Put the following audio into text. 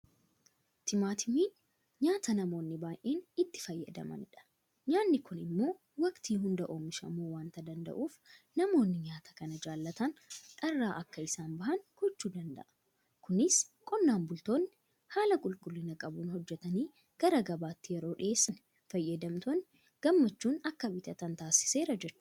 Timaatimiin nyaata namoonni baay'een itti fayyadamanidha. Nyaanni kun immoo waktii hunda oomishamuu waanta danda'uuf namoonni nyaata kana jaalatan dharraa akka isaan bahan gochuu danda'a. Kunis qonnaan bultoonni haala qulqullina qabuun hojjetanii gara gabaatti yeroo dhiyeessan fayyadamtoonni gammachuun akka bitatan taasiseera jechuudha.